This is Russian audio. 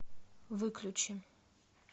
выключи